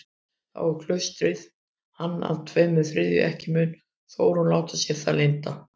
Þá á klaustrið hann að tveimur þriðju, ekki mun Þórunn láta sér það lynda.